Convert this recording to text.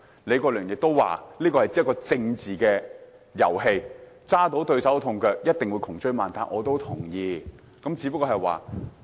李國麟議員亦說，這是一場政治遊戲，如果抓到對手把柄，一定會窮追猛打，我也同意。